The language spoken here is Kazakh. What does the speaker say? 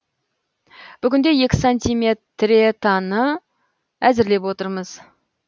бүгінде екі сантиметретаны әзірлеп отырмыз